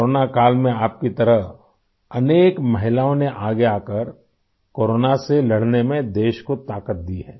corona काल में आप की तरह अनेक महिलाओं ने आगे आकर कोरोना से लड़ने में देश को ताक़त दी है